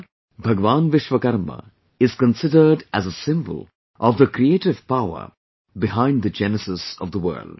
Here, Bhagwan Vishwakarma is considered as a symbol of the creative power behind the genesis of the world